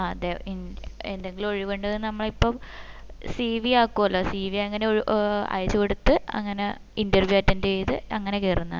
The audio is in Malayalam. ആ അതെ എന്തെങ്കിലും ഒഴിവിണ്ടെങ്കിൽ നമ്മള് ഇപ്പം cv ആകുവല്ലോ cv അങ്ങന ഏർ അയച് കൊടുത് അങ്ങന interview attend ചെയ്ത് അങ്ങനാ കേറുന്നത്